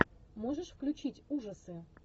можешь включить ужасы